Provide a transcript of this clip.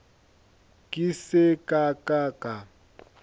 ke se ka ka ka